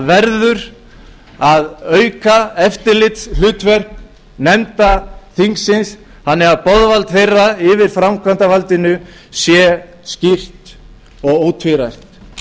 verður að auka eftirlitshlutverk nefnda þingsins þannig að boðvald þeirra yfir framkvæmdarvaldinu sé skýrt og ótvírætt